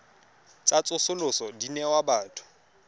tsa tsosoloso di newa batho